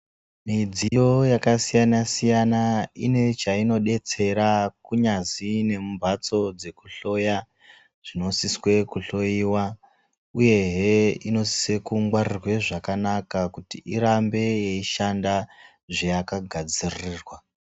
Midziyo yakasiyana siyana inechainodetsera kunyazi nemumbatso dzekuhloya zvinosiswe kuhloiwa uyehe inosise kungwarirwe zvakanaka kuti irambe yeishanda zveyakagadzirwa.